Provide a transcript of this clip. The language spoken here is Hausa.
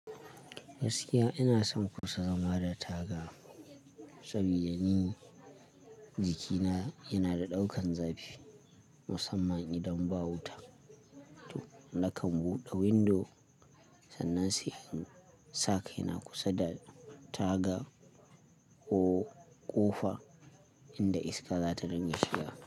Gaskiya ina son kusa zama da taga saboda ni jikina yana da ɗaukan zafi musamman idan ba wuta. To nakan buɗe windo sannan sai in sa kai na kusa da taga ko ƙofa inda iska za ta dinga shiga.